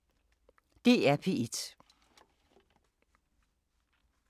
DR P1